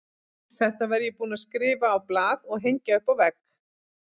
Þetta var ég búinn að skrifa á blað og hengja upp á vegg.